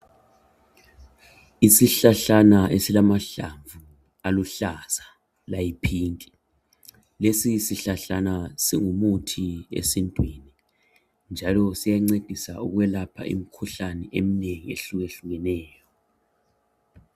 Isihlahlana esilamahlamvu aluhlaza layi pink. Lesi isihlahlana ngumuthi esintwini, njalo siyancedisa ukwelapha imikhuhlane eminengi ehluyehlukileyo.